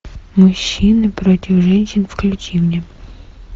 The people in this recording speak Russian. мужчины против женщин включи мне